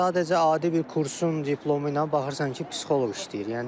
Sadəcə adi bir kursun diplomu ilə baxırsan ki, psixoloq işləyir.